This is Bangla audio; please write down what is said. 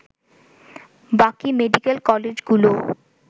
বাকি মেডিকেল কলেজগুলোও